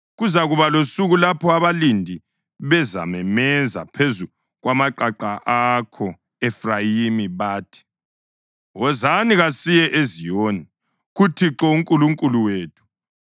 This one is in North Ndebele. Kuzakuba losuku lapho abalindi bezamemeza phezu kwamaqaqa ako-Efrayimi bathi, ‘Wozani, kasiyeni eZiyoni, kuThixo uNkulunkulu wethu.’ ”